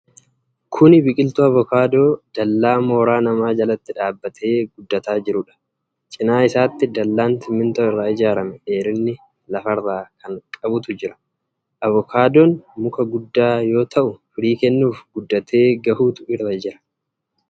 Kuni biqiltuu avokaadoo dallaa mooraa nama jalatti dhaabatee guddataa jiruudha. Cinaa isaatti dallaan simintoo irraa ijaarame dheerina laffarra kan qabutu jira. Avookaadoon muka guddaa yoo ta'uu firii kennuuf guddatee gahuutu irra jira.